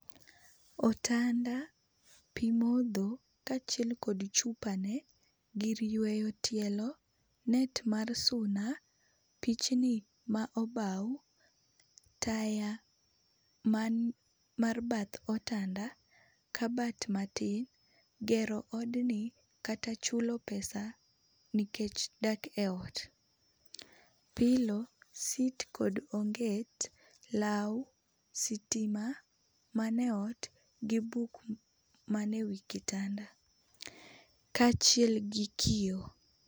Otanda, pi modho kaachiel kod chupa ne, gir yweyo tielo, net mar suna, pichni ma obau, taya man mar bath otanda, kabat matin, gero od ni kata chula pesa nikech dak e ot, pilo, sit kod onget, law, sitima ma ne ot ,gi buk ma ne e wii kitanda kaachiel gi kioo.